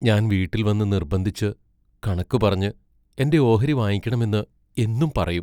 ഞാൻ വീട്ടിൽ വന്നു നിർബന്ധിച്ചു കണക്കു പറഞ്ഞ് എന്റെ ഓഹരി വാങ്ങിക്കണമെന്ന് എന്നും പറയും.